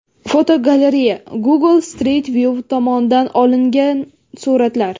Fotogalereya: Google Street View tomonidan olingan suratlar.